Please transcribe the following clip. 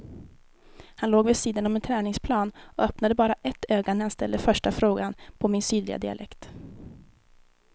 Han låg vid sidan om en träningsplan och öppnade bara ett öga när jag ställde första frågan på min sydliga dialekt.